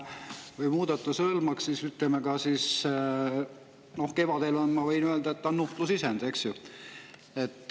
Noh, kevadel, ma võin öelda, on nuhtlusisendid, eks ju.